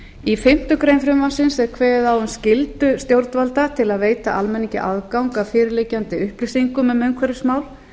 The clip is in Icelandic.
í fimmtu grein frumvarpsins er kveðið á um skyldu stjórnvalda til að veita almenningi aðgang að fyrir liggjandi upplýsingum um umhverfismál